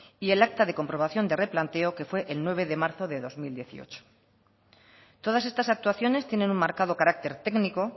y el acta de comprobación de replanteo que fue el nueve de marzo de dos mil dieciocho todas estas actuaciones tienen un marcado carácter técnico